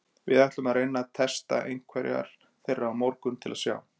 Við ætluðum að reyna að testa einhverjar þeirra á morgun til að sjá.